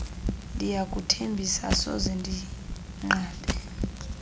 ndiyakuthembisa asoze ndinqabe